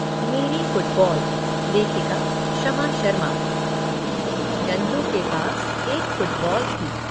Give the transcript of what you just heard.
मेरी फुटबॉल लेखिका क्षमा शर्मा नंदू के पास एक फुटबॉल थी।